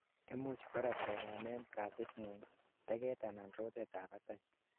imuch korak konamen katitngung, teget anan rotet ab batai